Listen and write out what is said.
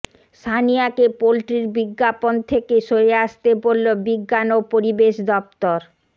সানিয়াকে পোল্ট্রির বিজ্ঞাপন থেকে সরে আসতে বলল বিজ্ঞান ও পরিবেশ দপ্তর